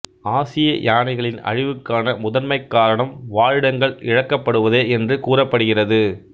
ஆசிய யானைகளின் அழிவுக்கான முதன்மைக் காரணம் வாழிடங்கள் இழக்கப்படுவதே என்று கூறப்படுகிறது